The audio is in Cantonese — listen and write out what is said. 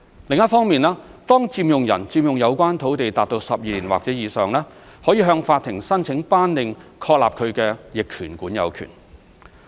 另一方面，當佔用人佔用有關土地達12年或以上，可以向法庭申請頒令確立他的逆權管有權。